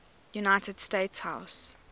united states house